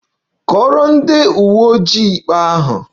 Kọọrọ ndị uwe ojii ikpe ahụ!